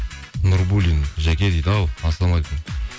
нурбуллин жаке дейді ау ассалаумағалейкум